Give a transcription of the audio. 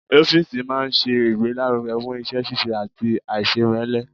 Ọ́fìsì máa n ṣe ìgbélárugẹ́ fún iṣẹ́-síse àti àìsèmẹ́lẹ́